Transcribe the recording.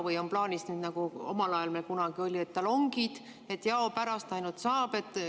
Või on plaanis, nagu omal ajal olid, talongid, et jaopärast ainult saab?